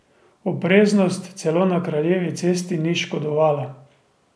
Opreznost celo na kraljevi cesti ni škodovala.